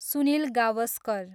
Sunil Gavaskar